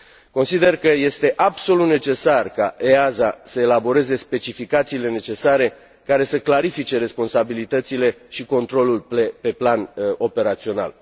Consider că este absolut necesar ca EASA să elaboreze specificațiile necesare care să clarifice responsabilitățile și controlul pe plan operațional.